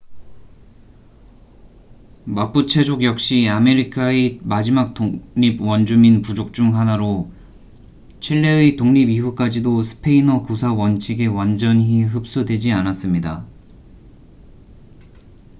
마푸체족 역시 아메리카의 마지막 독립 원주민 부족 중 하나로 칠레의 독립 이후까지도 스페인어 구사 원칙에 완전히 흡수되지 않았습니다